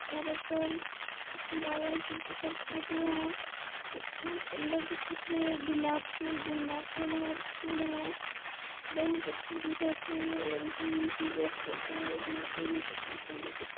और ओकर फोटो ह कितना सुन्दर दिखत हे गुलाब फुल गोंदा फुल हर फुल है बहुत अच्छा दिखत हे और ईशा मशीह का फोटो भी कितना सुन्दर दिखत हे ।